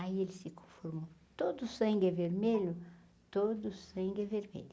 Aí ele se conformou, todo sangue é vermelho, todo sangue é vermelho.